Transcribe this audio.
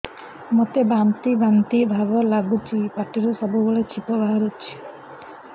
ମୋତେ ବାନ୍ତି ବାନ୍ତି ଭାବ ଲାଗୁଚି ପାଟିରୁ ସବୁ ବେଳେ ଛିପ ବାହାରୁଛି